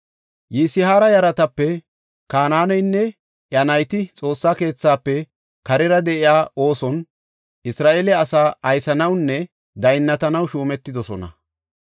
Yisihaara yaratape Kanaaneynne iya nayti Xoossa keethafe karera de7iya ooson Isra7eele asaa aysanawunne daynnatanaw shuumetidosona.